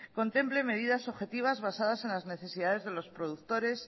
contemple medidas objetivas basadas en las necesidades de los productores